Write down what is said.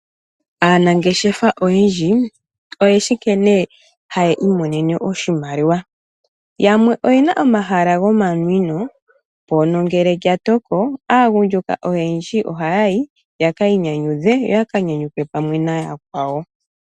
Aanangeshefa oyendji oyeshi nkene haya imonene oshimaliwa, yamwe oyena omahala gomanwino mpono ngele lya toko aagundjuka ohaya yi yeki inyanyudhe yoya ka nyanyukwe pamwe nooyakwawo.